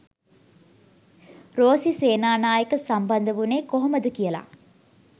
රෝසි සේනානායක සම්බන්ද වුනේ කොහොමද කියලා.